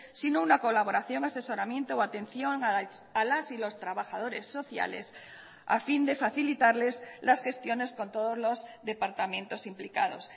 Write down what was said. sino una colaboración asesoramiento o atención a las y los trabajadores sociales a fin de facilitarles las gestiones con todos los departamentos implicados